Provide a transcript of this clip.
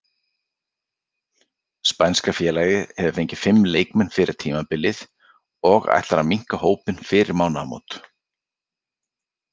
Spænska félagið hefur fengið fimm leikmenn fyrir tímabilið og ætlar að minnka hópinn fyrir mánaðarmót.